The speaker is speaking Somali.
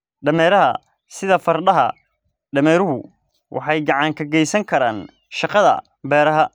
Dameeraha Sida fardaha, dameeruhu waxay gacan ka geysan karaan shaqada beeraha.